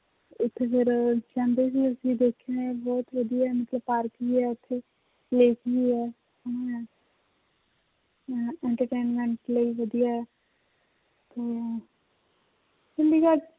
ਉੱਥੇ ਫਿਰ ਕਹਿੰਦੇ ਵੀ ਅਸੀਂ ਦੇਖਿਆ ਹੈ ਬਹੁਤ ਵਧੀਆ ਮਤਲਬ ਪਾਰਕ ਵੀ ਹੈ ਉੱਥੇ lake ਵੀ ਹੈ entertainment ਲਈ ਵਧੀਆ ਹੈ ਤੇ ਚੰਡੀਗੜ੍ਹ